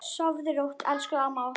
Sofðu rótt, elsku amma okkar.